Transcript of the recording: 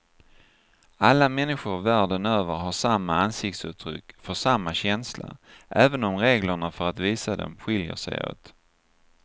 Alla människor världen över har samma ansiktsuttryck för samma känsla, även om reglerna för att visa dem skiljer sig åt.